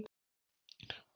Og ég fann það.